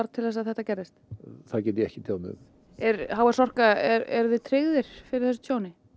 til þess að þetta gerðist það get ég ekki tjáð mig um er h s Orka eruð þið tryggðir fyrir þessu tjóni